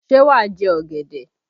Ṣé wà á jẹ ọ̀gẹ̀dẹ̀?